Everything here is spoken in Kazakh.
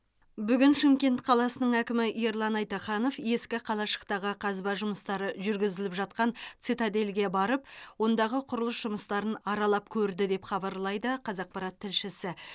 бүгін шымкент қаласының әкімі ерлан айтаханов ескі қалашықтағы қазба жұмыстары жүргізіліп жатқан цитадельге барып ондағы құрылыс жұмыстарын аралап көрді деп хабарлайды қазақпарат тілшісі